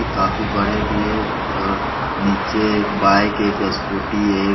काफी बड़े भी एक और नीचे एक बाइक एक स्कूटी है।